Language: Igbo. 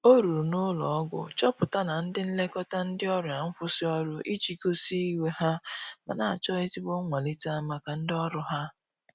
O ruru na ụlọ ogwọ chọpụta na ndi n'elekota ndi ọrìa nkwụsi ọrụ ije gosi iwe ha, mana acho ezigbo nwalita maka ndi ọrụ ha